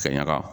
Ka ɲaga